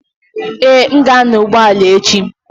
Ee, m ga-anya ụgbọ ala echi.